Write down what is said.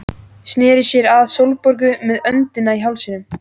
Sneri sér að Sólborgu með öndina í hálsinum.